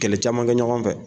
Kɛlɛ camankɛ ɲɔgɔn fɛ.